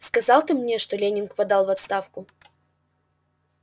сказал ты мне что лэннинг подал в отставку